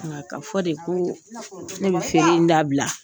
Nga Ka fɔ de ko ne bi feere in dabila